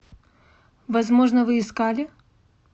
возможно вы искали